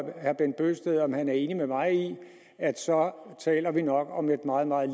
herre bent bøgsted om han er enig med mig i at så taler vi nok om et meget meget